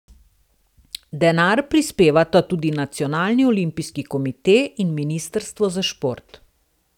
Denar prispevata tudi nacionalni olimpijski komite in ministrstvo za šport.